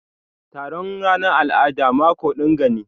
Taron ranan al'ada mako dinga ne.